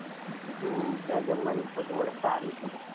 હા ત્યાં જમવાની સગવડ સારી છે.